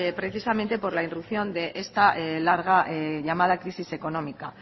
precisamente por la introducción de esta larga llamada crisis económica